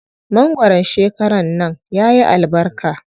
Mangwaron shekaran nan yayi albarka.